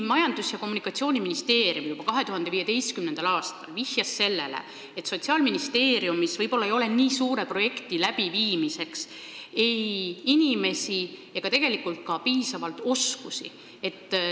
Majandus- ja Kommunikatsiooniministeerium vihjas juba 2015. aastal, et Sotsiaalministeeriumis ei pruugi olla nii suure projekti elluviimiseks inimesi ega tegelikult ka piisavalt oskusi.